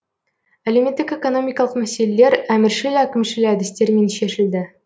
әлеуметтік экономикалық мәселелер әміршіл әкімшіл әдістермен шешілді